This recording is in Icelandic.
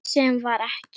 Sem var ekki.